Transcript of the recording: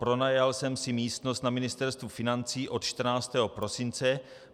Pronajal jsem si místnost na Ministerstvu financí od 14. prosince.